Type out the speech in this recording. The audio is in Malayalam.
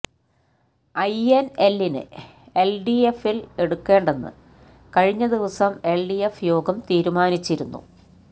ഐ എന് എല്ലിനെ എല് ഡി എഫില് എടുക്കേണ്ടെന്ന് കഴിഞ്ഞദിവസം എല് ഡി എഫ് യോഗം തീരുമാനിച്ചിരുന്നു